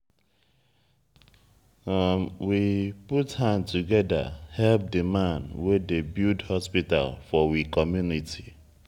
we put hand together help di man wey dey build hospital for we community.